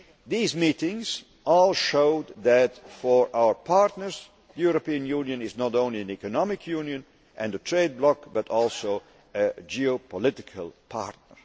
These meetings all showed that, for our partners, the European Union is not only an economic union and a trade bloc, but also a geopolitical partner.